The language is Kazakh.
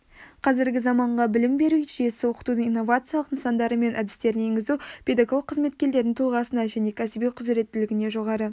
қазіргі заманғы білім беру жүйесі оқытудың инновациялық нысандары мен әдістерін енгізу педагог қызметкерлердің тұлғасына және кәсіби құзыреттілігіне жоғары